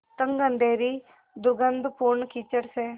तंग अँधेरी दुर्गन्धपूर्ण कीचड़ से